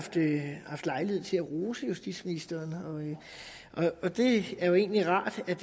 haft lejlighed til at rose justitsministeren og det er jo egentlig rart at